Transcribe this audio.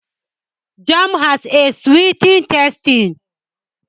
Jam ɗanɗanon zaƙi ne dashi.